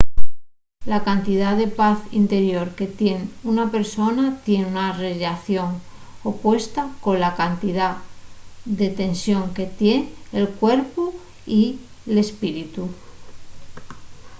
la cantidá de paz interior que tien una persona tien una rellación opuesta cola cantidá de tensión que tien el cuerpu y l’espíritu